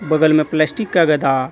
बगल में प्लास्टिक का गदा--